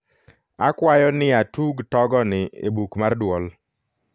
akwayo niatug togoni e buk mar duol